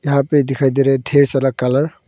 यहा पे दिखाई दे रा है ढेर सारा कलर ।